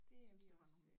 Det er vi også øh